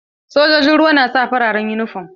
Sojojin ruwa na sa farar uniform.